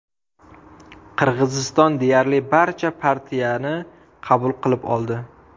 Qirg‘iziston deyarli barcha partiyani qabul qilib oldi.